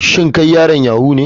Shin kai yaron yahoo ne.